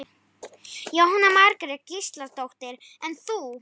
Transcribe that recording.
Jóhanna Margrét Gísladóttir: En þú?